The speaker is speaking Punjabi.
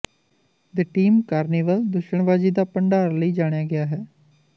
ਦੀ ਟੀਮ ਕਾਰਨੀਵਲ ਦੂਸ਼ਣਬਾਜ਼ੀ ਦਾ ਭੰਡਾਰ ਲਈ ਜਾਣਿਆ ਗਿਆ ਹੈ